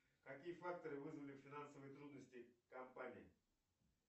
какие факторы вызвали финансовые трудности компании